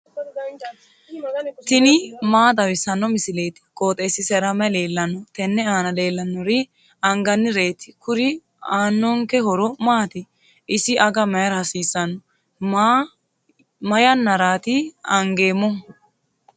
tini maa xawissanno misileeti? qooxeessisera may leellanno? tenne aana leellannori angannireeti. kuri aannonke horo maati? isi aga mayra hasiissanno? ma yannaraati angeemmohu?